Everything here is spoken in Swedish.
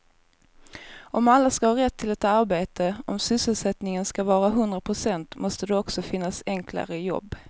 Om alla ska ha rätt till ett arbete, om sysselsättningen ska vara hundra procent måste det också finnas enklare jobb.